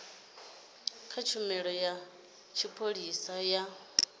kha tshumelo ya tshipholisa ya